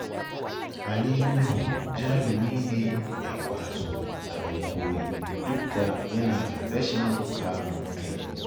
Ali Nuhu jarumi ne mai ƙwazo abin koyi, duk da yana da rashin kamun kai